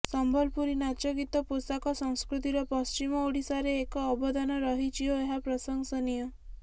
ସମ୍ବଲପୁରୀ ନାଚ ଗୀତ ପୋଷାକ ସଂସ୍କୃତିର ପଶ୍ଚିମ ଓଡିଶାରେ ଏକ ଅବଦାନ ରହିଛି ଓ ଏହା ପ୍ରଶଂସନୀୟ